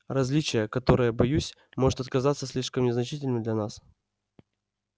различие которое боюсь может отказаться слишком незначительным для нас